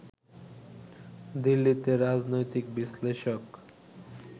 দিল্লিতে রাজনৈতিক বিশ্লেষক